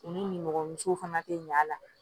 U nimɔgɔmusow fana te ɲɛ a la